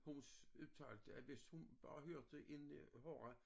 Hun udtalte at hvis hun bare hørte en øh horra